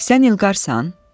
Sən İlqarsan?